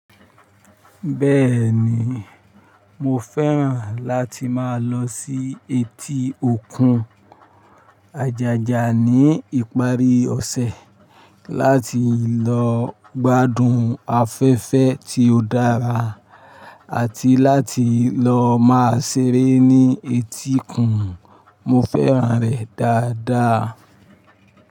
Bẹ́ẹ̀ni, mo fẹ́ràn láti máa lọ sí etí òkun Àjàjà ní ìparí ọ̀sẹ̀ láti lọ gbádùn afẹ́fẹ́ tí ó dára àti láti lọ máa seré ní etíkun. Mo fẹ́ràn rẹ̀ dáadáa.